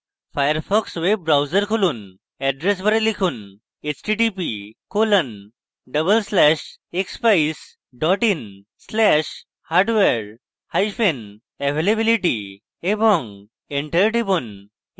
Firefox web browser খুলুন address bar লিখুন: